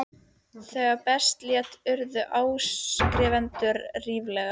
Þegar best lét urðu áskrifendur ríflega